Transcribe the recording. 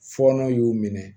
Fɔɔnɔ y'u minɛ